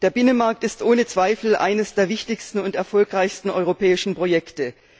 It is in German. Der Binnenmarkt ist ohne Zweifel eines der wichtigsten und erfolgreichsten europäischen Projekte.